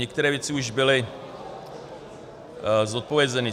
některé věci už byly zodpovězeny.